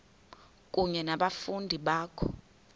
kunye nabafundi bakho